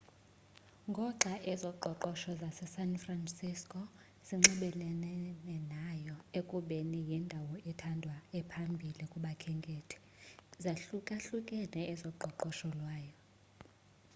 ngoxa ezoqoqosho zasesan franciso zinxibelelene nayo ekubeni yindawo ethandwayo ephambili kubakhenkethi zahlukahlukene ezoqoqosho lwayo